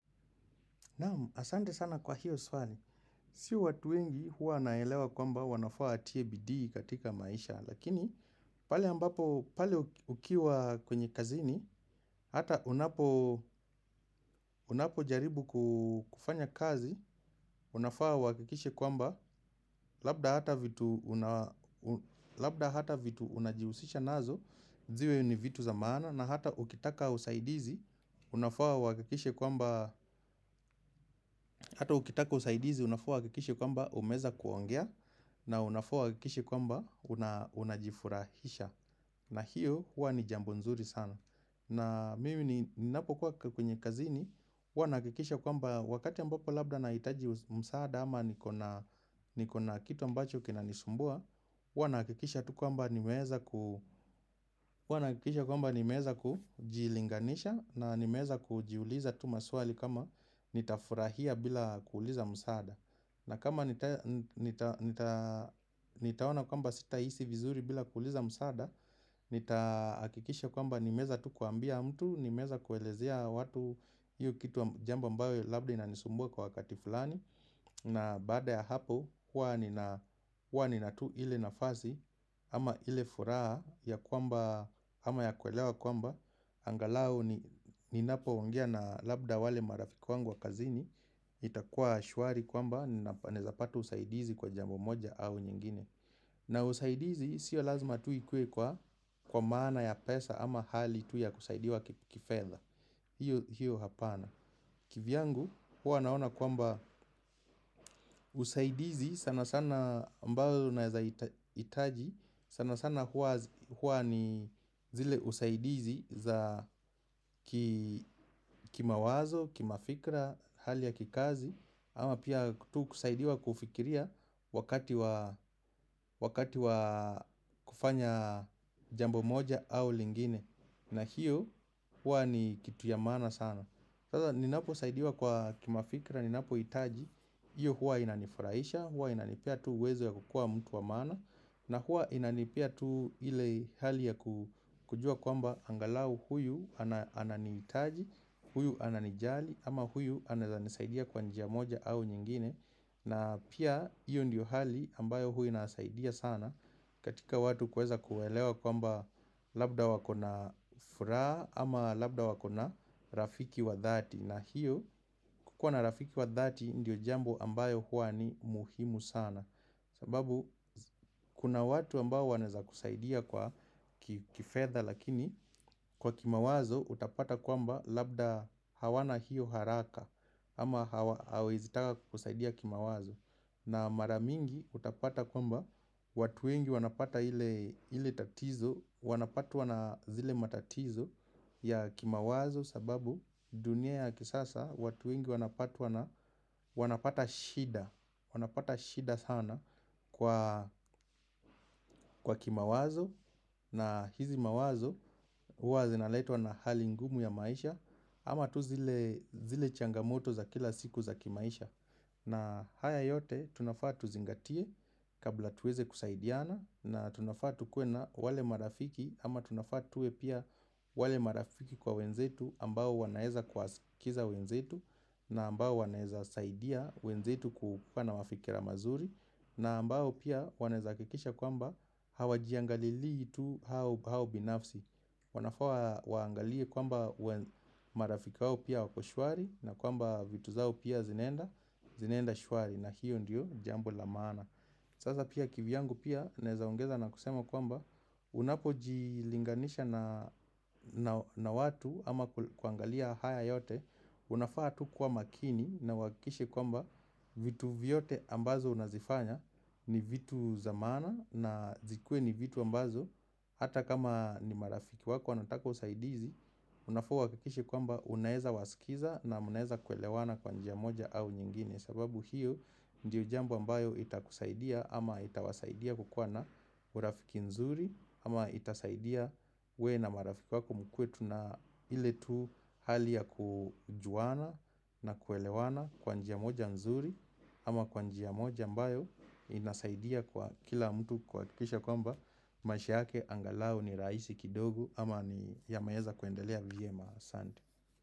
Naamu, asante sana kwa hiyo swali. Si watu wengi huwa wanaelewa kwamba wanafaa watie bidii katika maisha. Lakini, pale ambapo, pale ukiwa kwenye kazini, hata unapo jaribu kufanya kazi, unafaa uhakikishe kwamba, labda hata vitu unajihusisha nazo, ziwe ni vitu za mana, na hata ukitaka usaidizi, Unafaa uhakikishe kwamba Hata ukitaka usaidizi unafaa uhakikishe kwamba umeweza kuongea na unafaa uhakikishe kwamba unajifurahisha na hiyo hua ni jambo nzuri sana na mimi ni napokuwa kwenye kazini huwa nahakikisha kwamba wakati ambapo labda na hitaji msaada ama nikona kitu ambacho kinanisumbua huwa nahakikisha tu kwamba kwamba nimeeza kujilinganisha na nimeweza kujiuliza tu maswali kama nitafurahia bila kuuliza msaada na kama nitaona kwamba sita hisi vizuri bila kuuliza msaada Nitahakikisha kwamba nimeweza tu kuambia mtu Nimeweza kuelezea watu hiyo kitu jambo ambayo labda ina nisumbua kwa wakati fulani na baada ya hapo huwa nina tu ile nafasi ama ile furaha ya kwamba ama ya kuelewa kwamba Angalao ni napo ongea na labda wale marafiki wangu wa kazini itakuwa shwari kwamba nawezapata usaidizi kwa jambo moja au nyingine na usaidizi sio lazima tuikuwe kwa maana ya pesa ama hali tu ya kusaidiwa kifedha hiyo hapana kivyangu huwa naona kwamba usaidizi sana sana ambayo unawezahitaji sana sana hua ni zile usaidizi za kima wazo, kima fikra, hali ya kikazi ama pia tu kusaidiwa kufikiria wakati wa kufanya jambo moja au lingine na hiyo hua ni kitu ya maana sana Sasa ninapo saidiwa kwa kima fikra, ninapo hitaji hiyo hua inanifuraisha, hua inanipea tu uwezo ya kukua mtu wa maana na hua inanipea tu ile hali ya kujua kwamba angalau huyu ananihitaji, huyu ananijali ama huyu anawezanisaidia kwa njia moja au nyingine na pia hiyo ndiyo hali ambayo huainasaidia sana katika watu kuweza kuelewa kwamba labda wakona furaha ama labda wakona rafiki wa dhati na hiyo kukua na rafiki wa dhati ndiyo jambo ambayo hua ni muhimu sana sababu kuna watu ambao wanaweza kusaidia kwa kifedha lakini kwa kimawazo utapata kwamba labda hawana hiyo haraka ama hawawezitaka kukusaidia kimawazo na maramingi utapata kwamba watuwengi wanapata ile tatizo Wanapatwa na zile matatizo ya kimawazo sababu dunia ya kisasa watu wengi wanapatwa na wanapata shida Wanapata shida sana kwa kimawazo na hizi mawazo huazinaletwa na hali ngumu ya maisha ama tu zile changamoto za kila siku za kimaisha na haya yote tunafaatu zingatie kabla tuweze kusaidiana na tunafaatukuena wale marafiki ama tunafaatuwe pia wale marafiki kwa wenzetu ambao wanaweza kuwaskiza wenzetu na ambao wanaweza saidia wenzetu kukuana mafikira mazuri na ambao pia wanaweza hakikisha kwamba hawa jiangalili itu haobinafsi wanafaawaangalie kwamba marafiki waopia wakoshwari na kwamba vitu zao pia zinaenda shwari na hiyo ndiyo jambo lamaana Sasa pia kivyangu pia nawezaongeza na kusema kwamba unapo jilinganisha na watu ama kuangalia haya yote Unafaa tu kuwa makini na uhakikishe kwamba vitu vyote ambazo unazifanya ni vitu zamaana na zikue ni vitu ambazo Hata kama ni marafiki wako wanataka usaidizi, unafaa uhakikishe kwamba unaweza wasikiza na mnaweza kuelewana kwa njia moja au nyingine sababu hiyo ndiyo jambo ambayo itakusaidia ama itawasaidia kukuwana urafiki nzuri ama itasaidia wewe na marafiki wako mkuetu na iletu hali ya kujuana na kuelewana kwanjia moja nzuri ama kwanjia moja ambayo inasaidia kwa kila mtu kuhakikisha kwamba maisha yake angalao ni rahisi kidogo ama ni yameweza kwendelea vyema Asante.